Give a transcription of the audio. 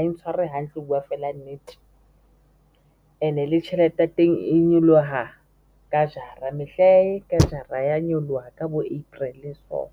e ntshware hantle ho buwa fela nnete and-e le tjhelete ya teng e nyoloha ka jara me hlae ka jara ya nyoloha ka bo April-e soo.